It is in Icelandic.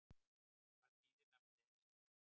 Hvað þýðir nafnið Esja?